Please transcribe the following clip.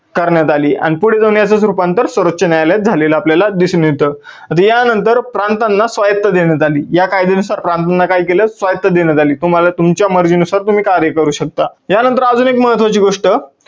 करण्यात आली आणि पुढे जाऊन याचच रुपांतर सर्वोच्च न्यायालयात झालेलं आपल्याला दिसून येतं. आता या नंतर प्रांतांना स्वायुक्त देण्यात आली. या कायद्यानुसार प्रांतांना काय केलं? स्वायुक्त देण्यात आली, तुम्हाला तुमच्या मर्जीनुसार तुम्ही कायदे करू शकता. या नंतर अजून एक महत्वाची गोष्ट